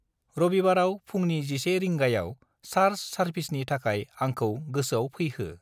रबिबाराव फुंनि 11 रिगांयाव चार्च सारभिसनि थाखाय आंखौ गोसोआव फैहो।